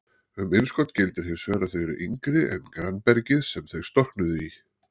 Um innskot gildir hins vegar að þau eru yngri en grannbergið sem þau storknuðu í.